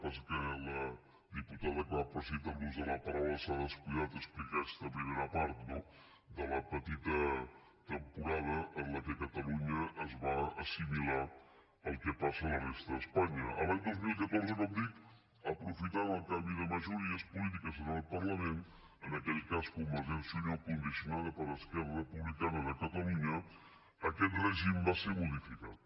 passa que la diputada clar però ha citat l’ús de la paraula s’ha descuidat d’explicar aquesta primera part no de la petita temporada en què catalunya es va assimilar al que passa a la resta d’espanya l’any dos mil catorze com dic aprofitant el canvi de majories polítiques en aquest parlament en aquell cas convergència i unió condicionada per esquerra republicana de catalunya aquest règim va ser modificat